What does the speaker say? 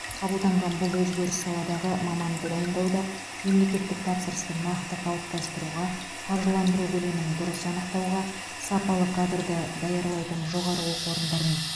қабылданған бұл өзгеріс саладағы маманды дайындауда мемлекеттік тапсырысты нақты қалыптастыруға қаржыландыру көлемін дұрыс анықтауға сапалы кадрды даярлайтын жоғары оқу орындарын